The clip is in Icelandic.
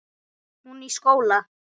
Hún í skóla.